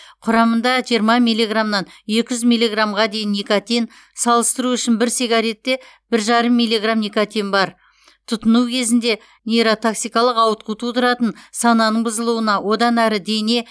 құрамында жиырма миллиграммнан екі жүз миллиграммға дейін никотин салыстыру үшін бір сигаретте бір жарым миллиграмм никотин бар тұтыну кезінде нейротоксикалық ауытқу тудыратын сананың бұзылуына одан әрі дене